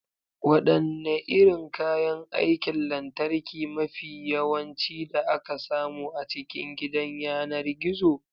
Wadanne irin kayan aikin lantarki mafi yawanci da aka samu a cikin gidan yanar gizo?